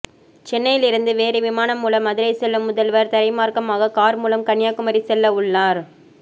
சென்னையில் இருந்து வேறு விமானம் மூலம் மதுரை செல்லும் முதல்வர் தரைமாற்கமாக கார் மூலம் கன்னியாகுமரி செல்ல உள்ளார்